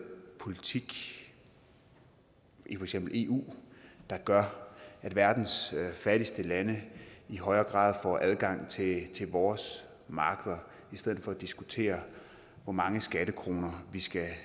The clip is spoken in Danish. politik i for eksempel eu der gør at verdens fattigste lande i højere grad får adgang til vores markeder i stedet for at diskutere hvor mange skattekroner vi skal